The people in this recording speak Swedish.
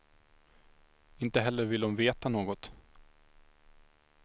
Inte heller vill hon veta något.